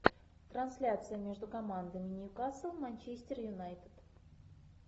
трансляция между командами ньюкасл манчестер юнайтед